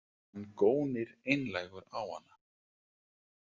Hann gónir einlægur á hana.